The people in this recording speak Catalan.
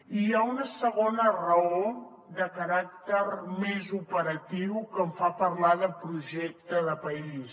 i hi ha una segona raó de caràcter més operatiu que em fa parlar de projecte de país